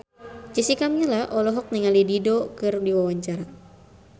Jessica Milla olohok ningali Dido keur diwawancara